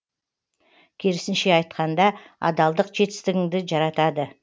керісінше айтқанда адалдық жетістігіңді жаратады